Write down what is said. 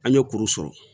An ye kuru sɔrɔ